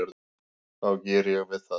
þá geri ég við það.